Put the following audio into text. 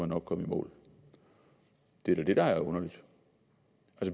nok komme i mål det er da det der er underligt